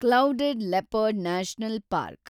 clouded leopard national park